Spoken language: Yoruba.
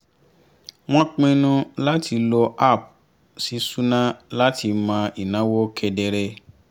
wọ́n pinnu láti lo app ṣíṣúná láti mọ ináwó kedere